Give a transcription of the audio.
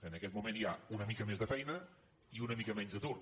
en aquest moment hi ha una mica més de feina i una mica menys d’atur